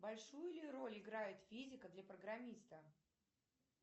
большую ли роль играет физика для программиста